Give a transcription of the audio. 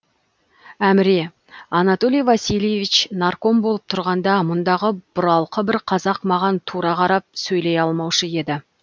әміре анатолий васильевич нарком болып тұрғанда мұндағы бұралқы бір қазақ маған тура қарап сөйлей алмаушы еді